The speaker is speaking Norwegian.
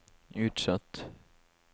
utsatt